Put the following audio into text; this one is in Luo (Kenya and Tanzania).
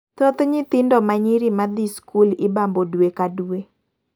Thoth nyithindo manyiri madhi skul ibambo dwe ka dwe.